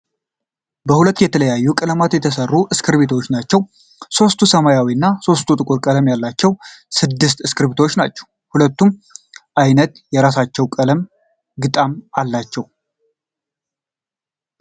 በሁለት የተለያዩ ቀለማት የተሰሩ እስክርቢቶዎች ናቸው ። ሶስት ሰመያዊ እና ሶስት ጥቁር ቀለም ያላቸው ስድስተ እስክርቢቶዎች ናቸው ። ሁለቱም አይነት በራሳቸው ቀለም ግጣም አላቸው ።